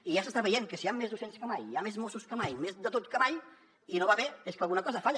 i ja s’està veient que si hi han més docents que mai hi ha més mossos que mai més de tot que mai i no va bé és que alguna cosa falla